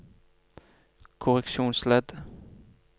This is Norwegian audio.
korreksjonsledd